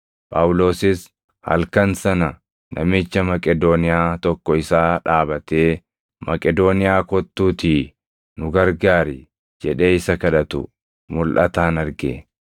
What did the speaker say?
Phaawulosis halkan sana namicha Maqedooniyaa tokko isaa dhaabatee, “Maqedooniyaa kottuutii nu gargaari” jedhee isa kadhatu mulʼataan arge.